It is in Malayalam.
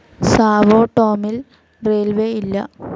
സാവോ ടോമിൽ റെയിൽവേസ്‌ ഇല്ല.